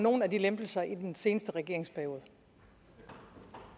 nogen af de lempelser i den seneste regeringsperiode